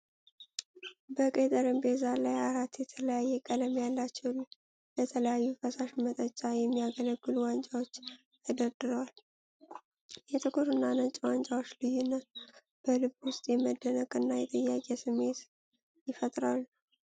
በቀይ ጠረጴዛ ላይ አራት የተለያየ ቀለም ያላቸው፣ ለተለያየ ፈሳሽ መጠጫ የሚያገለግሉ ዋንጫዎች ተደርድረዋል። የጥቁርና ነጭ ዋንጫዎች ልዩነት በልብ ውስጥ የመደነቅና የጥያቄ ስሜት ይፈጥራሉ።